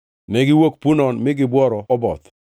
Negiwuok Punon mi gibworo Oboth.